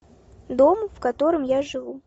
дом в котором я живу